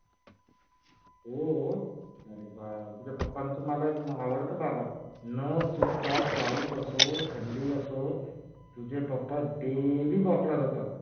हो. अरे वा तुझ्या पप्पांच मला हे आवडत. बाबा न चुकता पाऊस असो थंडी असो तुझे पप्पा daily walk ला जातात.